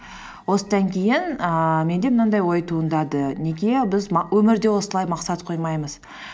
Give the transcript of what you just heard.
осыдан кейін ііі менде мынандай ой туындады неге біз өмірде осылай мақсат қоймаймыз